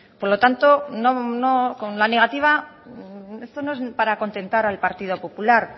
por lo tanto con la negativa esto no es para contentar al partido popular